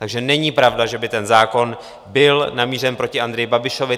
Takže není pravda, že by ten zákon byl namířen proti Andreji Babišovi.